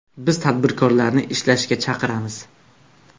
Biz tadbirkorlarni ishlashga chaqiramiz.